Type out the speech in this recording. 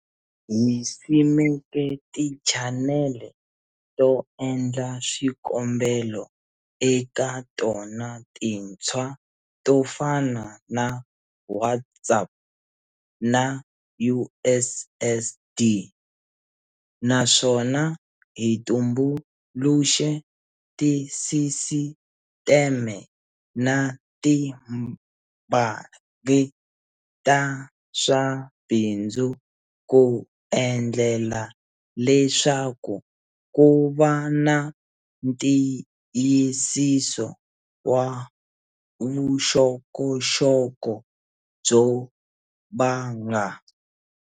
Hi simeke tichanele to endla swikombelo eka tona tintshwa to fana na WhatsApp na USSD, naswona hi tumbuluxe tisisiteme na tibangi ta swa bindzu ku endlela leswaku ku va na ntiyisiso wa vuxokoxoko byo banga.